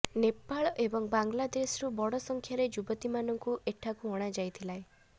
ନେପାଳ ଏବଂ ବାଲଂଦେଶରୁ ବଡ଼ ସଂଖ୍ୟାରେ ଯୁବତୀମାନଙ୍କୁ ଏଠାକୁ ଅଣାଯାଇଥାଏ